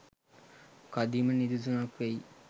කදිම නිදසුනක් වෙයි